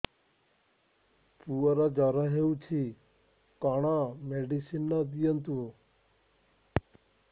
ପୁଅର ଜର ହଉଛି କଣ ମେଡିସିନ ଦିଅନ୍ତୁ